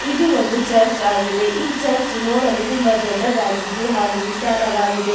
ಇದು ಒಂದು ಚರ್ಚ್ ಆಗಿದೆ ಈ ಚರ್ಚ್ ನೋಡಲು ತುಂಬಾ ದೊಡ್ಡದಾಗಿದ್ದು ಹಾಗು ವಿಶಾಲವಾಗಿದೆ.